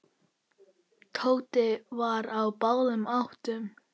Tóti var á báðum áttum.